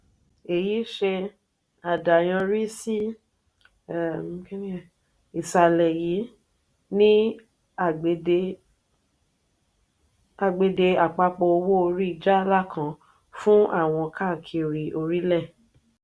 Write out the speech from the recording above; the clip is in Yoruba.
èyí ṣe àdàyanrí sí ìsàlè yìí ni àgbède àpapọ̀ owó orí jaala kan fún àwọn káàkiri orílẹ̀.